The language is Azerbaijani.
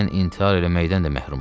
Mən intihar eləməkdən də məhrumam.